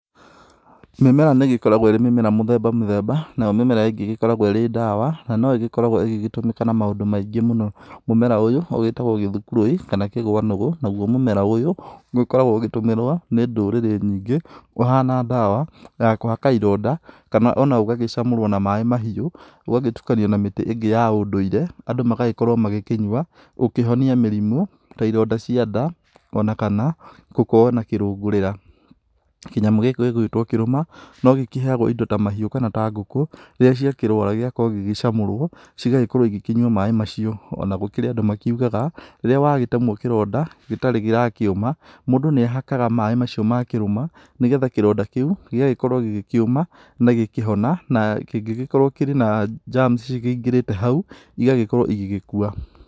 Mĩmera nĩ ĩgĩkoragwo ĩrĩ mĩmera mĩthamba mĩthemba. Nayo mĩmera ĩngĩ ĩgĩkoragwo ĩrĩ ndawa, na no ĩgĩkoragwo ĩgĩtũmĩka na maũndũ maingĩ mũno. Mũmera ũyũ ũgĩtagwo gĩthukuruĩ kana kĩgwanũgũ, naguo mũmera ũyũ. Ũkoragwo ũgĩtũmĩrwo nĩ ndũrĩrĩ nyingĩ ũhana ndawa ya kũhaka ironda kana ona ũgagĩcamũrwo na maĩ mahiũ, ũgagĩtukanio na mĩtĩ ingĩ ya ũndũire, andũ magagĩkorwo magĩkinyua gũkĩhonia mĩrimũ ta ironda cia nda, ona kana gũkorwo na kĩrũngurĩra. Kĩnyamũ gĩkĩ gĩgwĩtwo kĩruma no gĩkĩheagwo indo ta mahiũ kana ngũkũ rĩrĩa ciakĩrwara. Gĩgakorwo gĩgĩcamũrwo cigagĩkorwo cikĩnyua maĩ macio. Ona gũkĩrĩ andũ makiugaga rĩrĩa wagitemwo kĩronda gĩtarĩ kĩrakĩũma, mũndũ nĩ ahakaga maĩ macio makĩruma, nĩ getha kĩronda kĩu gĩgagĩkorwo gĩgĩkĩũma na gĩkĩhona. Na kĩngĩgĩkorwo kĩrĩ na germs ikĩingĩrĩte hau, igagĩkorwo igĩgĩkua.